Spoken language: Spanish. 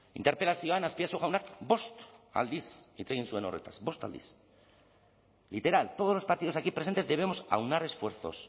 interpelazioan azpiazu jaunak bost aldiz hitz egin zuen horretaz bost aldiz literal todos los partidos aquí presentes debemos aunar esfuerzos